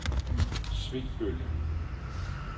Svebølle